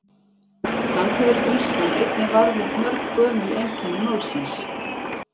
Samt hefur grískan einnig varðveitt mörg gömul einkenni málsins.